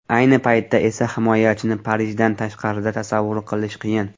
Ayni paytda esa himoyachini Parijdan tashqarida tasavvur qilish qiyin.